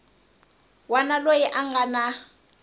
wana loyi a nga na